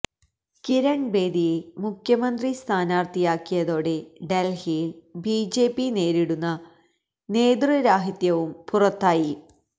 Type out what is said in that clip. കിരൺ ബേദിയെ മുഖ്യമന്ത്രി സ്ഥാനാർത്ഥിയാക്കിയതോടെ ഡൽഹിയിൽ ബിജെപി നേരിടുന്ന നേതൃരാഹിത്യവും പുറത്തായി